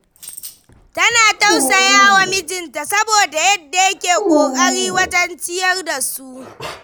Tana tausaya wa mijinta, saboda yadda yake ƙoƙari wajen ciyar da su.